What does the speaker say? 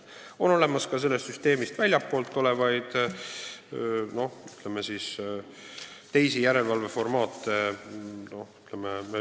Samas on olemas ka süsteemist väljaspool olevaid, ütleme siis, teisi järelevalveformaate.